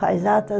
Faz atas